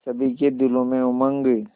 सभी के दिलों में उमंग